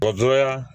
Dɔgɔtɔrɔya